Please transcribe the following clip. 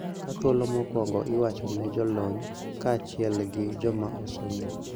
Ka thuolo mokwongo ichiwo ne jolony kaachiel gi joma osomo